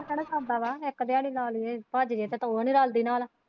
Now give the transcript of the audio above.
ਇੱਦਾਂ ਤਾਂ ਨਹੀਂ ਸਰਦਾ ਵਾ ਇੱਕ ਦਿਆੜੀ ਲਾ ਲਈ ਹੀ ਭੱਜ ਗਏ ਤੇ ਕੋਈ ਵੀ ਨਹੀਂ ਰਲਦੀ ਨਾਲ।